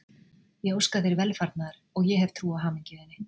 Ég óska þér velfarnaðar og ég hef trú á hamingju þinni.